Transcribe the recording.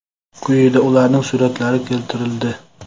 Quyida ularning suratlari keltirildi.